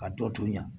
Ka dɔ to yan